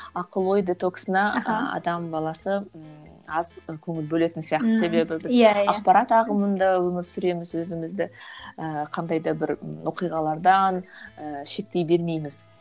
ақыл ой детоксына ы адам баласы ыыы аз көңіл бөлетін сияқты себебі біз ақпарат ағылымында өмір сүреміз өзімізді ііі қандай да бір і оқиғалардан ыыы шеттей бермейміз